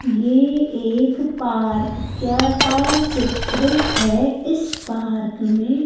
ये एक पार्क क्या का चित्र है इस पार्क में --